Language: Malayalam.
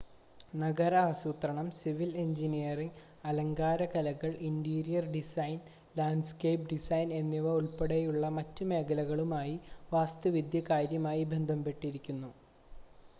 നഗര ആസൂത്രണം സിവിൽ എഞ്ചിനീയറിംഗ് അലങ്കാര കലകൾ ഇൻ്റീരിയർ ഡിസൈൻ ലാൻഡ്സ്കേപ്പ് ഡിസൈൻ എന്നിവ ഉൾപ്പെടെയുള്ള മറ്റ് മേഖലകളുമായി വാസ്തുവിദ്യ കാര്യമായി ബന്ധപ്പെട്ടുകിടക്കുന്നു